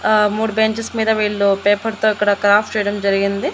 ఆ మూడు బేంచెస్ మీద వీళ్ళు పేపర్ తో ఇక్కడ క్రాఫ్ట్ చేయడం జరిగింది.